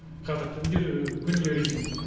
қазір түн де күн де режим